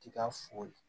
Ti ka foli